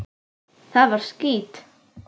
Það var skítt.